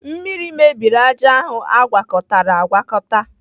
Mmiri mebiri ájá ahụ agwakọtara agwakọta